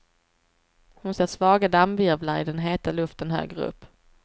Hon ser svaga dammvirvlar i den heta luften högre upp.